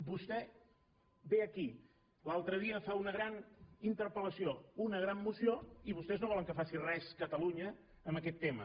vostè ve aquí l’altre dia fa una gran interpel·lació una gran moció i vostès no volen que faci res catalunya en aquest tema